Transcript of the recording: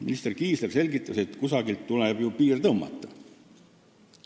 Minister Kiisler selgitas, et kusagile tuleb ju piir tõmmata.